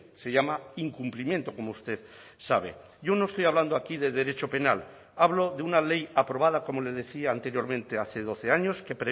se llama incumplimiento como usted sabe yo no estoy hablando aquí de derecho penal hablo de una ley aprobada como le decía anteriormente hace doce años que